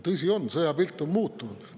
Tõsi on, et sõjapilt on muutunud.